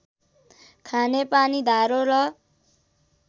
खानेपानी धारो र